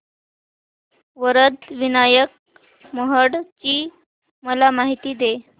वरद विनायक महड ची मला माहिती दे